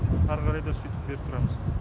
әрі қарай да сөйтіп беріп тұрамыз